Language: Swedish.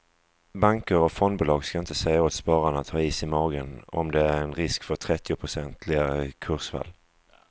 Banker och fondbolag ska inte säga åt spararna att ha is i magen om det är en risk för trettionprocentiga kursfall.